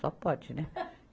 Só pode, né?